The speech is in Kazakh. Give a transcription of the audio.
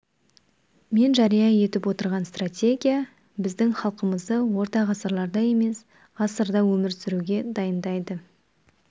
мен жария етіп отырған стратегия біздің халқымызды орта ғасырларда емес ғасырда өмір сүруге дайындайды